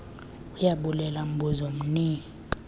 ayabulela mbuzo mni